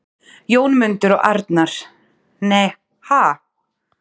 Jónmundur og Arnar: Nei, ha??